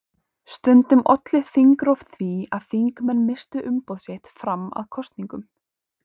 Stundum olli þingrof því að þingmenn misstu umboð sitt fram að kosningum.